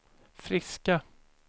friska